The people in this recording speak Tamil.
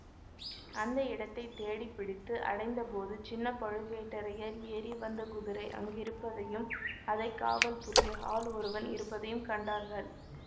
அந்த இடத்தை தேடி பிடித்து அடைந்தபோது சின்ன பழுவேட்டரையர் ஏறி வந்த குதிரை அங்கிருப்பதையும் அதை காவல் புரிய ஆள் ஒருவன் இருப்பதையும் கண்டார்கள்